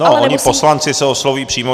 No, oni poslanci se oslovují přímo.